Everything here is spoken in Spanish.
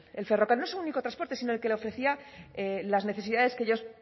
el ferrocarril no solo el único transporte sino el que le ofrecía las necesidades que ellos